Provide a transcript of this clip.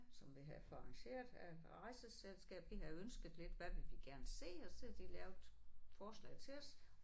Som vi havde fået arrangeret af rejseselskab vi havde ønsket lidt hvad vil vi gerne se og så havde de lavet forslag til os